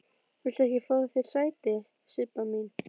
Viltu ekki fá þér sæti, Sibba mín?